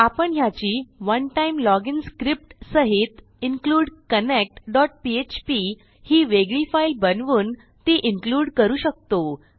आपण ह्याची one time login script सहित इन्क्लूड कनेक्ट php ही वेगळी फाईल बनवून ती इन्क्लूड करू शकतो